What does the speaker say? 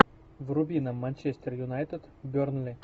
вруби нам манчестер юнайтед бернли